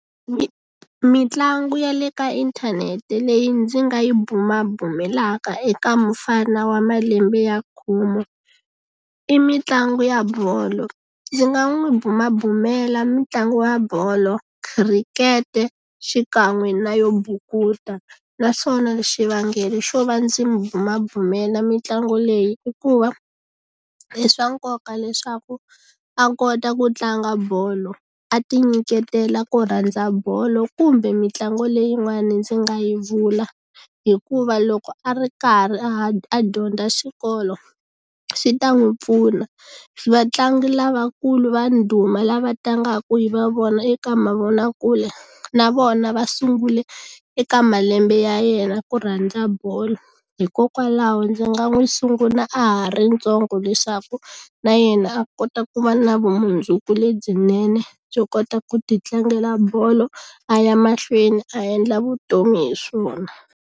Mitlangu ya le ka inthanete leyi ndzi nga yi bumabumelaka eka mufana wa malembe ya khume i mitlangu ya bolo ndzi nga n'wi bumabumela mitlangu wa bolo khirikete xikan'we na yo bukuta naswona xivangelo xo va ndzi mu bumabumela mitlangu leyi i ku va i swa nkoka leswaku a kota ku tlanga bolo a ti nyiketela ku rhandza bolo kumbe mitlangu leyin'wani ndzi nga yi vula hikuva loko a ri karhi a dyondza xikolo swi ta n'wi pfuna vatlangi lavakulu va ndhuma lava tlangaku hi va vona eka mavonakule na vona va sungule eka malembe ya yena ku rhandza bolo hikokwalaho ndzi nga n'wi sungula a ha ri ntsongo leswaku na yena a kota ku va na vumundzuku lebyinene byo kota ku ti tlangela bolo a ya mahlweni a endla vutomi hi swona.